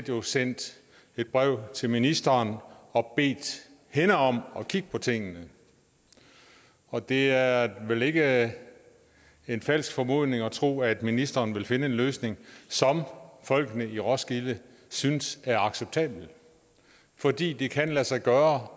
jo sendt et brev til ministeren og bedt hende om at kigge på tingene og det er vel ikke en falsk formodning at tro at ministeren vil finde en løsning som folkene i roskilde synes er acceptabel fordi det kan lade sig gøre